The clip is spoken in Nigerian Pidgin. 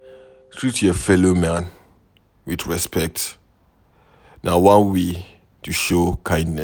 Treat your fellow man with respect, na one way to show kindness